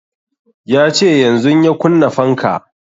Ya ce yanzun ya kunna fanka